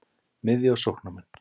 Miðju- og sóknarmenn: